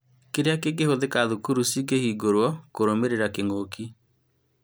Kĩria kĩngĩhũthĩka thukuru cikĩhingũrwo kũrũmĩrĩra kĩng'ũki?